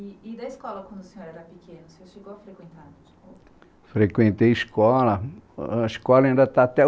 E da escola, quando o senhor era pequeno, o senhor chegou a frequentar? Frequentei escola, a escola ainda está até o